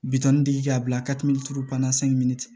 Bitɔn dege ka bila bana